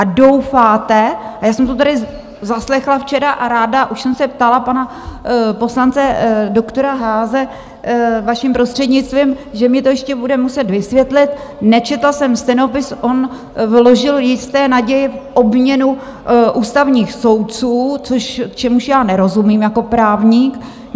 A doufáte - a já jsem to tady zaslechla včera a ráda, už jsem se ptala pana poslance, doktora Haase, vaším prostřednictvím, že mi to ještě bude muset vysvětlit, nečetla jsem stenopis, on vložil jisté naděje v obměnu ústavních soudců, čemuž já nerozumím jako právník.